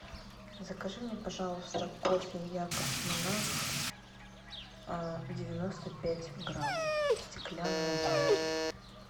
закажи мне пожалуйста кофе якобс монарх девяносто пять грамм в стеклянной банке